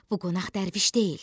bu qonaq dərviş deyil.